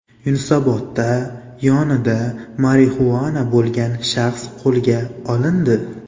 Yunusobodda yonida marixuana bo‘lgan shaxs qo‘lga olindi .